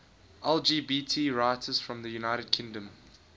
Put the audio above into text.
lgbt writers from the united kingdom